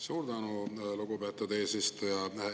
Suur tänu, lugupeetud eesistuja!